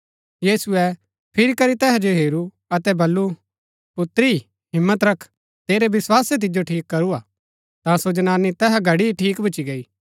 यीशुऐ फिरी करी तैहा जो हेरू अतै बल्लू पुत्री हिम्मत रख तेरै विस्वासै तिजो ठीक करूआ ता सो जनानी तैहा घड़ी ही ठीक भूच्ची गई